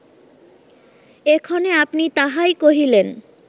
এক্ষণে আপনি তাহাই কহিলেন